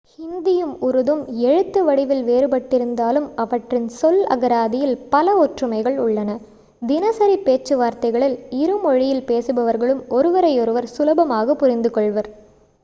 ஹிந்தியும் உருதும் எழுத்து வடிவில் வேறுபட்டிருந்தாலும் அவற்றின் சொல் அகராதியில் பல ஒற்றுமைகள் உள்ளன தினசரி பேச்சுவார்த்தைகளில் இரு மொழியில் பேசுபவர்களும் ஒருவரையொருவர் சுலபமாக புரிந்து கொள்வர்